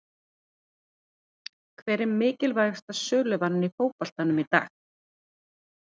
Hver er mikilvægasta söluvaran í fótboltanum í dag?